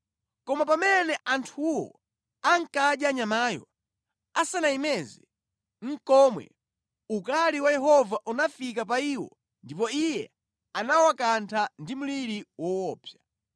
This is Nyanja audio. Koma pamene anthuwo ankadya nyamayo, asanayimeze nʼkomwe, ukali wa Yehova unafika pa iwo ndipo Iye anawakantha ndi mliri woopsa.